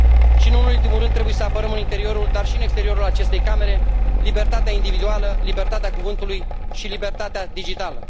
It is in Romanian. Și, nu în ultimul rând, trebuie să apărăm în interiorul, dar și în exteriorul acestei Camere, libertatea individuală, libertatea cuvântului și libertatea digitală.